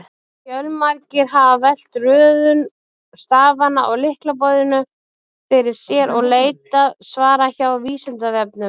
Fjölmargir hafa velt röðun stafanna á lyklaborðinu fyrir sér og leitað svara hjá Vísindavefnum.